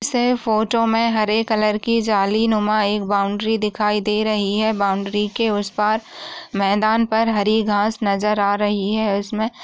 से फोटो मे हरे कलर की जाली नो मा एक बॉउन्ड्री दिखाई दे रही है बॉउन्ड्री के उस पार मैदान पर हरी घांस नजर आ रही है उस में--